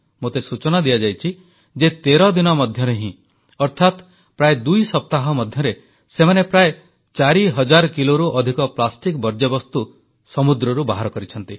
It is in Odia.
ମୋତେ ସୂଚନା ଦିଆଯାଇଛି ଯେ 13 ଦିନ ମଧ୍ୟରେ ହିଁ ଅର୍ଥାତ୍ ପ୍ରାୟ ଦୁଇ ସପ୍ତାହ ମଧ୍ୟରେ ସେମାନେ ପ୍ରାୟ 4000 କିଲୋରୁ ଅଧିକ ପ୍ଲାଷ୍ଟିକ ବର୍ଜ୍ୟବସ୍ତୁ ସମୁଦ୍ରରୁ ବାହାର କରିଛନ୍ତି